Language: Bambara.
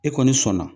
E kɔni sɔnna